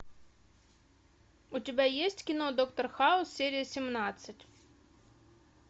у тебя есть кино доктор хаус серия семнадцать